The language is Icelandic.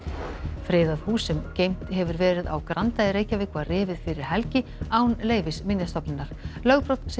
friðað hús sem geymt hefur verið á Granda í Reykjavík var rifið fyrir helgi án leyfis Minjastofnunar lögbrot segir